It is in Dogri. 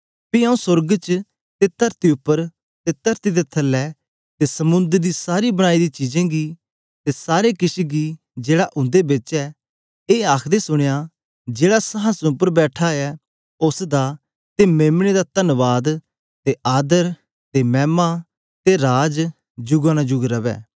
पी आऊँ सोर्ग च ते तरती उपर ते तरती दे थलै ते समुंद्र दी सब बनाई दी चीजें गी ते सारे किश गी जेहड़ा उंदे बिच ऐ ए आखदे सुनया जेहड़ा संहासन उपर बैठा ऐ उस्स दा ते मेम्ने दा तन्वाद ते आदर ते मैमा ते राज जुगा नु जुग रवै